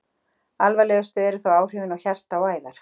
Alvarlegust eru þó áhrif á hjarta og æðar.